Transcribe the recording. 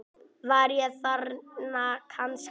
Var ég þarna kannski?